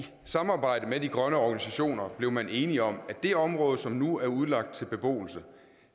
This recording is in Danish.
samarbejde med de grønne organisationer blev man enig om at det område som nu er udlagt til beboelse